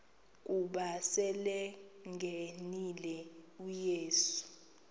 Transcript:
ukuba selengenile uyesu